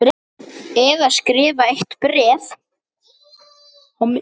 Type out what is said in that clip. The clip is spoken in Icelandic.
Eða skrifa eitt bréf?